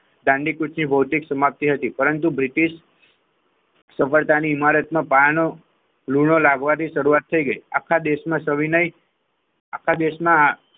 દાંડીકૂટી ભૌતિક સમાપ્તિ હતી પરંતુ બ્રિટિશ સફળતાની ઈમારતમાં માપાનો લુડો લાગવાથી શરૂઆત થઈ આખા દેશમાં સવિનય આખા દેશમાં,